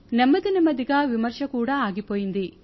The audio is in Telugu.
నెమ్మది నెమ్మదిగా విమర్శ కూడా ఆగిపోయింది